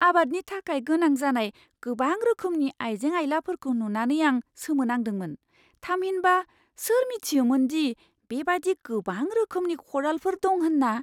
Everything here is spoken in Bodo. आबादनि थाखाय गोनां जानाय गोबां रोखोमनि आइजें आइलाफोरखौ नुनानै आं सोमोनांदोंमोन। थामहिनबा, सोर मिथियोमोन दि बेबादि गोबां रोखोमनि खदालफोर दं होन्ना?